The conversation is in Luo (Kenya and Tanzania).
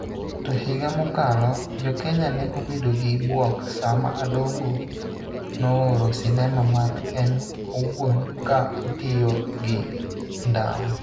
To higa mokalo, jo Kenya ne obedo gi bwok sama Adongo nooro sinema mag en owuon ka otiyo gi ndawa .